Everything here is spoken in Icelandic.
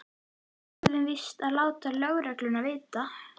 Við verðum víst að láta lögregluna vita.